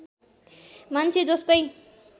मान्छे जस्तै